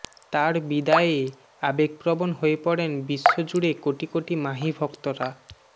তার বিদায়ে আবেগ প্রবণ হয়ে পড়েন বিশ্ব জুড়ে কোটি কোটি মাহি ভক্তরা